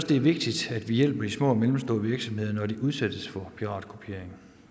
det er vigtigt at vi hjælper de små og mellemstore virksomheder når de udsættes for piratkopiering